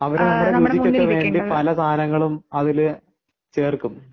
അവർ നമ്മുടെ രുചിക്ക് ഒക്കെ വേണ്ടി പല സാധനങ്ങളും അതില് ചേർക്കും